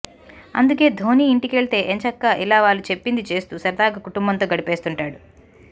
అందుకే ధోనీ ఇంటికెళ్తే ఎంచక్కా ఇలా వాళ్లు చెప్పింది చేస్తూ సరదాగా కుటుంబంతో గడిపేస్తుంటాడు